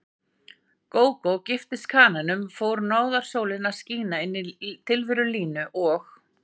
Gógó giftist kananum fór náðarsólin að skína inní tilveru Línu og